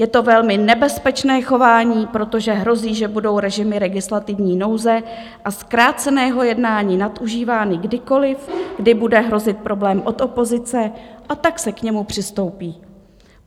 Je to velmi nebezpečné chování, protože hrozí, že budou režimy legislativní nouze a zkráceného jednání nadužívány kdykoliv, kdy bude hrozit problém od opozice, a tak se k němu přistoupí.